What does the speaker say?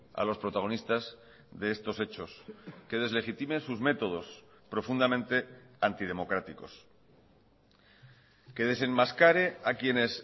a los protagonistas de estos hechos que deslegitimen sus métodos profundamente antidemocráticos que desenmascare a quienes